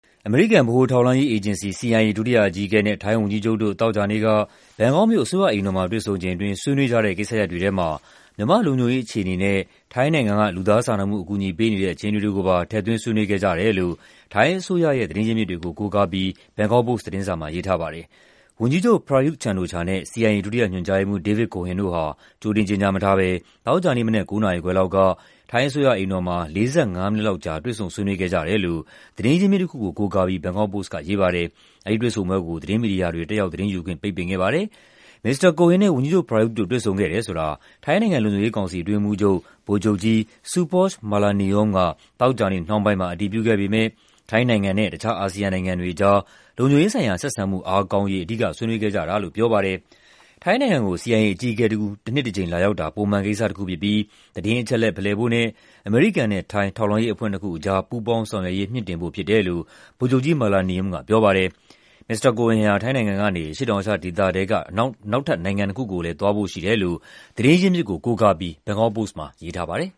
အမေရိကန် ဗဟိုထောက်လှမ်းရေးအေဂျင်စီ (CIA) ဒုတိယအကြီးအကဲနဲ့ ထိုင်းဝန်ကြီးချုပ်တို့ သောကြာနေ့က ဘန်ကောက်မြို့၊ အစိုးရအိမ်တော်မှာ တွေ့ဆုံချိန်အတွင်း ဆွေးနွေးကြတဲ့ ကိစ္စရပ်တွေထဲမှာ မြန်မာ့လုံခြုံရေး အခြေအနေနဲ့ ထိုင်းနိုင်ငံက လူသားစာနာမှု အကူအညီပေးနေတဲ့ အခြေအနေတွေကိုပါ ထည့်သွင်း ဆွေးနွေးခဲ့ကြတယ်လို့ ထိုင်းအစိုးရအဖွဲ့ သတင်းရင်းမြစ်တွေကို ကိုးကားပြီး ဘန်ကောက်ပို့စ် သတင်းစာက ရေးထားပါတယ်။ ဝန်ကြီးချုပ် Prayut Chan-o-cha နဲ့ CIA ဒုတိယညွှန်ကြားရေးမှူး David Cohen တို့ဟာ ကြိုတင် ကြေညာမထားဘဲ သောကြာနေ့မနက် ၉ နာရီခွဲလောက်က ထိုင်းအစိုးရအိမ်တော်မှာ ၄၅ မိနစ်လောက်ကြာ တွေ့ဆုံ ဆွေးနွေးခဲ့ကြတယ်လို့ သတင်းရင်းမြစ်တခုကို ကိုးကားပြီး ဘန်ကောက်ပို့စ်က ရေးပါတယ်။ အဲဒီတွေ့ဆုံပွဲကို သတင်းမီဒီယာတွေ တက်ရောက်သတင်းယူခွင့် ပိတ်ပင်ခဲ့ပါတယ်။ မစ္စတာ Cohen နဲ့ ဝန်ကြီးချုပ် Prayut တို့ တွေ့ဆုံခဲ့တယ်ဆိုတာ ထိုင်းနိုင်ငံ လုံခြုံရေးကောင်စီ အတွင်းရေးမှူးချုပ် ဗိုလ်ချုပ်ကြီး Supoj Malaniyom က သောကြာနေ့နှောင်းပိုင်းမှာ အတည်ပြုခဲ့ပေမယ့် ထိုင်းနိုင်ငံနဲ့ တခြား အာဆီယံနိုင်ငံတွေကြား လုံခြုံရေးဆိုင်ရာ ဆက်ဆံမှု အားကောင်းရေး အဓိက ဆွေးနွေးခဲ့ကြတာလို့ ပြောပါတယ်။ ထိုင်းနိုင်ငံကို CIA အကြီးအကဲတဦး တနှစ်တကြိမ် လာရောက်တာ ပုံမှန်ကိစ္စတခုဖြစ်ပြီး သတင်းအချက်အလက် ဖလှယ်ဖို့နဲ့ အမေရိကန်နဲ့ ထိုင်း ထောက်လှမ်းရေးအဖွဲ့နှစ်ခုကြား ပူးပေါင်းဆောင်ရွက်ရေး မြှင့်တင်ဖို့ ဖြစ်တယ်လို့ ဗိုလ်ချုပ်ကြီး Malaniyom က ပြောပါတယ်။ မစ္စတာ Cohen ဟာ ထိုင်းနိုင်ငံကနေ အရှေ့တောင်အာရှဒေသထဲက နောက်နိုင်ငံနှစ်ခုကိုလည်း သွားဖို့ရှိတယ်လို့ သတင်းရင်းမြစ်ကို ကိုးကားပြီး ဘန်ကောက်ပို့စ်မှာ ရေးထားပါတယ်